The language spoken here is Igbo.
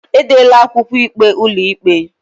Edela akwụkwọ ikpe ụlọikpe